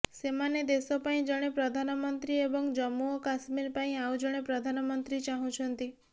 ସେମାନେ ଦେଶ ପାଇଁ ଜଣେ ପ୍ରଧାନମନ୍ତ୍ରୀ ଏବଂ ଜମ୍ମୁ ଓ କଶ୍ମୀର ପାଇଁ ଆଉ ଜଣେ ପ୍ରଧାନମନ୍ତ୍ରୀ ଚାହୁଁଛନ୍ତି